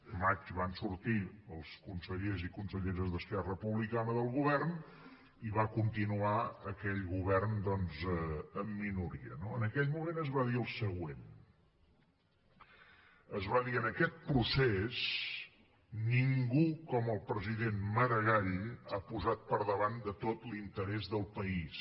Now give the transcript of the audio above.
al maig van sortir els consellers i conselleres d’esquerra republicana del govern i va continuar aquell govern doncs en minoria no en aquell moment es va dir el següent es va dir en aquest procés ningú com el president maragall ha posat per davant de tot l’interès del país